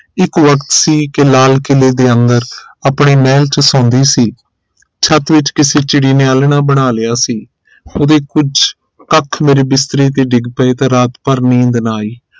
ਇਕ ਵਕਤ ਸੀ ਕੇ ਲਾਲ ਕਿਲੇ ਦੇ ਅੰਦਰ ਆਪਣੇ ਮਹਿਲ ਚ ਸੋਂਦੀ ਸੀ ਛੱਤ ਵਿਚ ਕਿਸੇ ਚਿੜੀ ਨੇ ਆਲ੍ਹਣਾ ਬਣਾ ਲਿਆ ਸੀ ਉਹਦੇ ਕੁਛ ਕਖ ਮੇਰੇ ਬਿਸਤਰੇ ਤੇ ਡਿੱਗ ਪਏ ਤਾਂ ਰਾਤ ਭਰ ਨੀਂਦ ਨਾ ਆਈ